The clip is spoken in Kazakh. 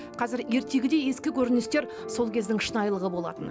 қазір ертегідей ескі көріністер сол кездің шынайлылығы болатын